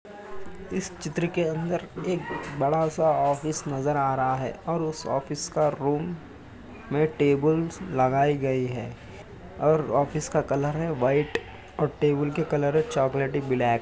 इस चित्र के अन्दर एक बडा सा ऑफिस नजर आ रहा है और उस ऑफिस का रूम में टेबल्स लगाये गए हैंऔर ऑफिस का कलर है वाइट और टेबल का कलर है चोकलेटी ब्लैक --